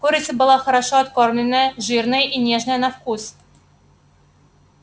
курица была хорошо откормленная жирная и нежная на вкус